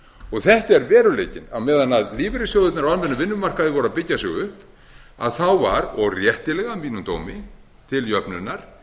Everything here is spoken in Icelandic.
og þetta er veruleikinn á meðan lífeyrissjóðirnir á almennum vinnumarkaði voru að byggja sig upp þá var og réttilega að mínum dómi til jöfnunar